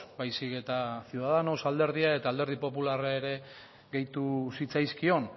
baizik eta ciudadanos alderdia eta alderdi popularra ere gehitu zitzaizkion